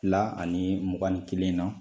Fila ani mugan ni kelen na